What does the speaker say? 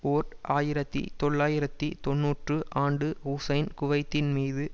ஓர் ஆயிரத்தி தொள்ளாயிரத்து தொன்னூறு ஆண்டு ஹுசைன் குவைத்தின் மீது